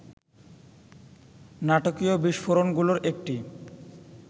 নাটকীয় বিস্ফোরণগুলোর একটি